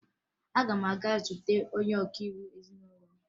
Aga m aga zute onye ọkaiwu ezinụlọ m